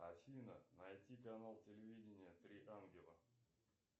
афина найти канал телевидения три ангела